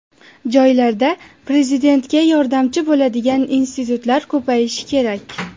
Joylarda Prezidentga yordamchi bo‘ladigan institutlar ko‘payishi kerak.